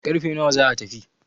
karfe nawa za a tafi?